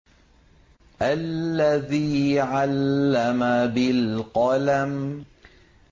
الَّذِي عَلَّمَ بِالْقَلَمِ